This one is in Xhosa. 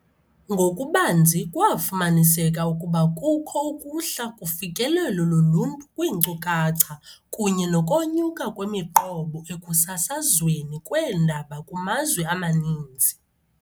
Ngokubanzi, kwafumaniseka ukuba kukho ukuhla kufikelelo loluntu kwiinkcukacha kunye nokonyuka kwemiqobo ekusasazweni kweendaba kumazwe amaninzi.